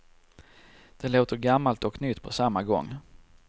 Det låter gammalt och nytt på samma gång.